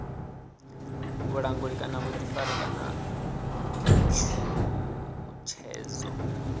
vhulanguli kana vhuḓifari kana tshutshedzo